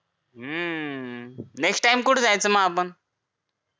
next time कुठं जायचं मग आपण